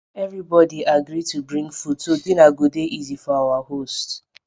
everybodi agri to bring food so dinner go dey easy for our host